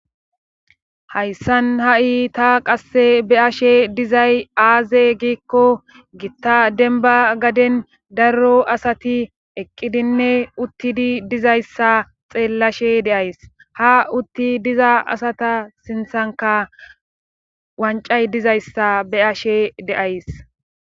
hayssan ha7i ta qasse be ashe dizay aaze giikko gitta denba gaden darro asati eqqidinne uttidi dizayssa xeellashe deays ha utti diza asata sinthanka wancay dizayssa be ashe deays